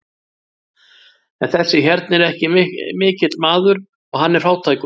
En þessi hérna er ekki mikill maður og hann er fátækur.